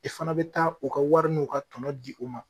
I fana bɛ taa u ka wari n'u ka tɔnɔ di u ma.